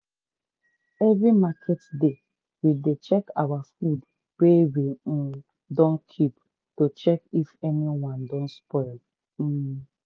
every market day we dey check our food wey we um dun keep to check if anyone don spoil. um